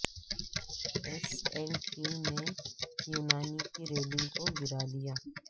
S and P نے یونان کی ریٹنگ کو گرا دیا